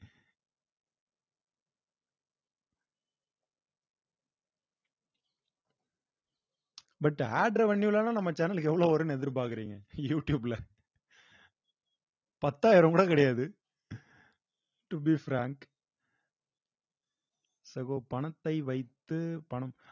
but AD revenue ல எல்லாம் நம்ம channel க்கு எவ்வளவு வரும்ன்னு எதிர்பாக்குறீங்க யூ டியூப்ல பத்தாயிரம் கூட கிடையாது to be frank சகோ பணத்தை வைத்து பணம்